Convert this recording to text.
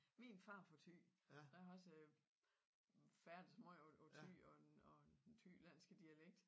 Min far er fra Thy så jeg har også færdes meget ovre i Thy og den den Thylandske dialekt